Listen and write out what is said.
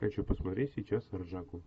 хочу посмотреть сейчас ржаку